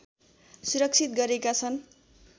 सुरक्षित गरेका छन्